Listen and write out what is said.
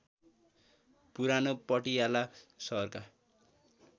पुरानो पटियाला सहरका